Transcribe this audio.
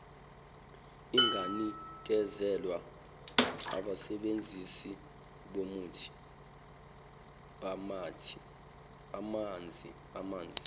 inganikezelwa abasebenzisi bamanzi